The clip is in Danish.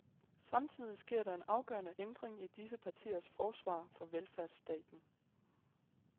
Samtidig sker der en afgørende ændring i disse partiers forsvar for velfærdsstaten.